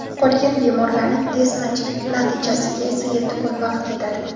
Qolgan bemorlarning test natijasiga esa yetti kun vaqt ketadi.